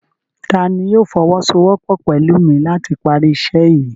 Tani yóò fọwọsowọpọ pẹlu mi lati pari iṣẹ yii?